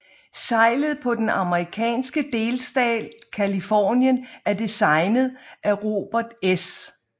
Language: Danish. Seglet for den amerikanske delstat Californien er designet af Robert S